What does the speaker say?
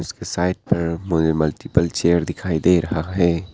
इसके साइड पर मुझे मल्टीपल चेयर दिखाई दे रहा है।